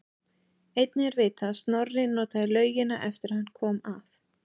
Einnig er vitað að Snorri notaði laugina eftir að hann kom að